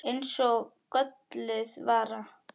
Eins og gölluð vara.